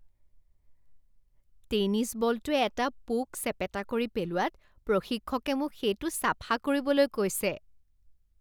Tennis বলটোৱে এটা পোক চেপেটা কৰি পেলোৱাত প্ৰশিক্ষকে মোক সেইটো চাফা কৰিবলৈ কৈছে।